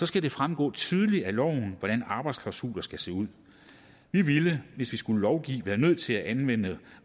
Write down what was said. skal det fremgår tydeligt af loven hvordan arbejdsklausuler skal se ud vi ville hvis vi skulle lovgive være nødt til at anmelde